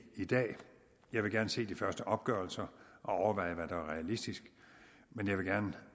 i dag jeg vil gerne se de første opgørelser og overveje hvad der er realistisk men jeg vil